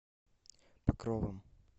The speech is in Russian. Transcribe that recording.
покровом